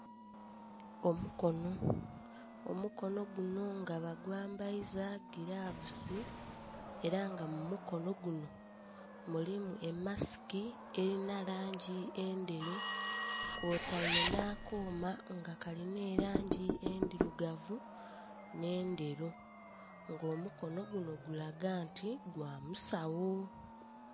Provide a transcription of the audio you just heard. Omukono, omukono guno nga bagwambaiza gilavusi era nga mu mukono guno mulimu emasiki erina langi endheru kwotaile nh'akooma nga kalina langi endhirugavu nh'endheru. Nga omukono guno gulaga nti gwa musawo.